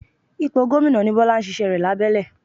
Ipò gómìnà ni Bọ́lá ń ṣíṣẹ́ rẹ̀ lábẹ́lẹ̀